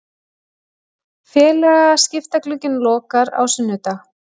Félagaskiptaglugginn lokar á sunnudag.